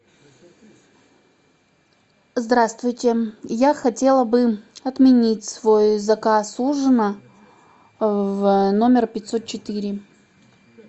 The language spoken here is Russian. здравствуйте я хотела бы отменить свой заказ ужина в номер пятьсот четыре